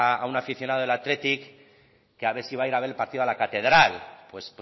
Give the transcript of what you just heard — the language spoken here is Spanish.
a un aficionado del athletic que a ver si va a ir a ver el partido a la catedral pues